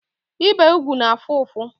Ibe ụgwụ na-afụ ụfụ